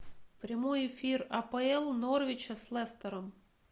прямой эфир апл норвича с лестером